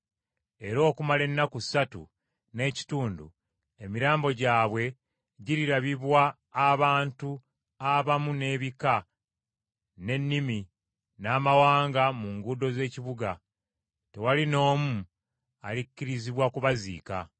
Era okumala ennaku ssatu n’ekitundu emirambo gyabwe girirabibwa abantu abamu n’ebika, n’ennimi, n’amawanga mu nguudo z’ekibuga. Tewali n’omu alikkirizibwa kubaziika.